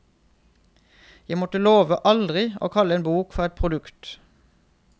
Jeg måtte love aldri å kalle en bok for et produkt.